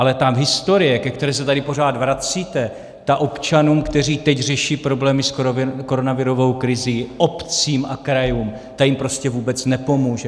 Ale ta historie, ke které se tady pořád vracíte, ta občanům, kteří teď řeší problémy s koronavirovou krizí, obcím a krajům, ta jim prostě vůbec nepomůže.